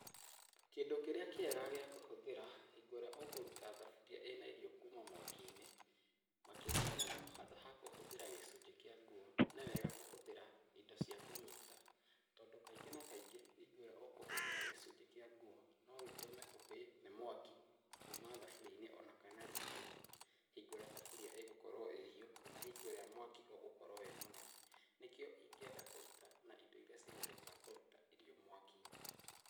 Kĩndũ kĩrĩa kĩega gĩakũhũthĩra hingo ĩrĩa ũkũruta thaburia ĩna irio kuma mwaki-inĩ, makĩria mũndo handũ ha kũhũthĩra gĩcunjĩ kĩa nguo nĩ wega kũhũthira indo cia kũnyita, tondũ kaingĩ na kaingĩ hingo ĩrĩa ũkũhũthĩra gĩcunjĩ kĩa nguo no gĩtũme ũhĩe nĩ mwaki kuma thaburia-inĩ ona kana riko-inĩ hingo ĩrĩa thaburia ĩgũkorwo ĩhiũ kana hingo ĩrĩa mwaki ũgũkorwo wĩ mũnene, nĩkĩo ingĩenda kũruta na indo iria cihũthĩkaga kũruta irio mwaki-inĩ.